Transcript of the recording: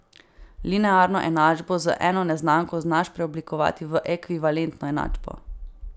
Linearno enačbo z eno neznanko znaš preoblikovati v ekvivalentno enačbo.